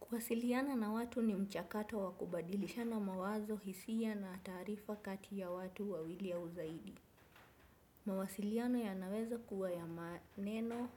Kuwasiliana na watu ni mchakato wa kubadilishana mawazo hisia na taarifa kati ya watu wawili au zaidi. Mawasiliano yanaweza kuwa ya maneno